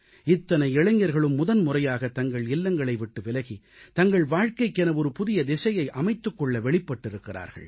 இத்தனை இளைஞர்களும் முதன்முறையாக தங்கள் இல்லங்களை விட்டு விலகி தங்கள் வாழ்க்கைக்கென ஒரு புதிய திசையை அமைத்துக் கொள்ள வெளிப்பட்டிருக்கிறார்கள்